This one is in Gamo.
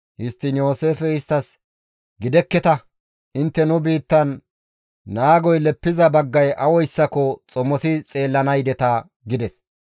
Histtiin Yooseefey isttas, «Gidekketa! Intte nu biittan naagoy leppiza baggay awayssako xomosi xeellana yideta» gides.